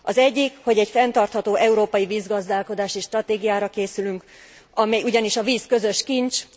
Az egyik, hogy egy fenntartható európai vízgazdálkodási stratégiára készülünk, ugyanis a víz közös kincs.